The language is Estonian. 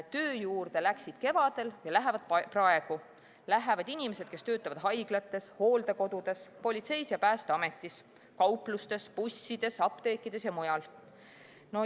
Töö juurde läksid kevadel ja lähevad praegu inimesed, kes töötavad haiglates, hooldekodudes, politseis ja Päästeametis, kauplustes, bussides, apteekides ja mujal.